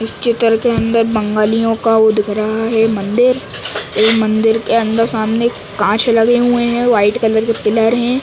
इस चित्र के अंदर बंगालियों का वो दिख रहा है मंदिर । ये मंदिर के अंदर सामने कांच लगे हुए हैं वाइट कलर के पिलर हैं ।